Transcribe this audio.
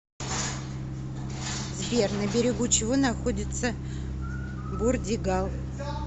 сбер на берегу чего находится бурдигал